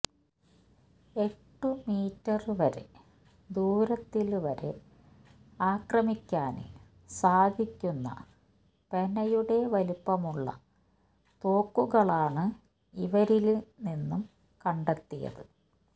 എട്ടു മീറ്റര് വരെ ദൂരത്തില് വരെ ആക്രമിക്കാന് സാധിക്കുന്ന പെനയുടെ വലിപ്പമുള്ള തോക്കുകളാണ് ഇവരില് നിന്നും കണ്ടെത്തിയത്